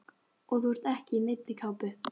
Og þú ert ekki í neinni kápu.